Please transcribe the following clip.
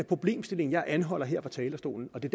problemstilling jeg anholder her fra talerstolen det